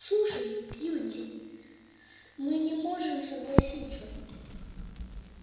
слушай кьюти мы не можем согласиться